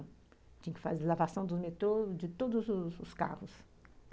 Tinha que fazer lavação do metrô, de todos os os carros.